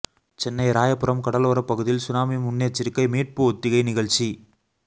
சென்னை ராயபுரம் கடலோரப் பகுதியில் சுனாமி முன்னெச்சரிக்கை மீட்பு ஒத்திகை நிகழ்ச்சி